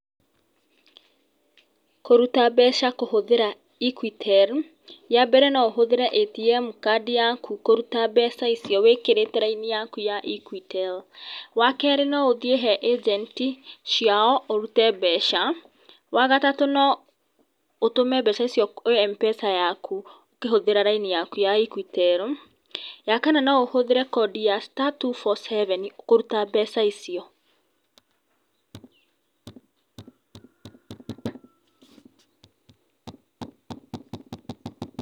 Kũruta mbeca kũhũthĩra Equitel, ya mbere no ũhũthĩre ATM card yaku kũruta mbeca icio wĩkĩrĩte raini yaku ya Equitel. Wa kerĩ no ũthiĩ he ĩjenti ciao ũrute mbeca. Wa gatatũ no ũtũme mbeca icio kwĩ Mpesa yaku ũkĩhũthĩra raini yaku ya Equitel. Ya kana no ũhũthĩre kondi ya star two two four seven kũruta mbeca icio.